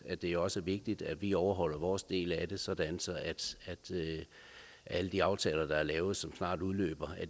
at det også er vigtigt at vi overholder vores del af det sådan at alle de aftaler der er lavet og som snart udløber